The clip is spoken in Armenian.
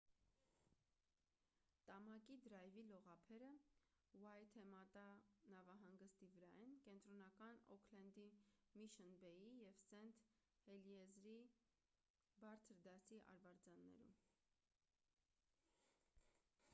տամակի դրայվի լողափերը ուայթեմատա նավահանգստի վրա են կենտրոնական օքլենդի միշըն բեյի և սենթ հելիերզի բարձր դասի արվարձաններում